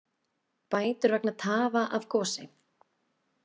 Bætur vegna tafa af gosi